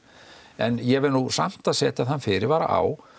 en ég verð nú samt að setja þann fyrirvara á